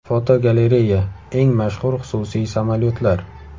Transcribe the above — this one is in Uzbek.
Fotogalereya: Eng mashhur xususiy samolyotlar.